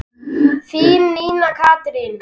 Þín, Nína Katrín.